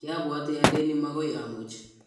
kiabuoti aleni mokoi amuch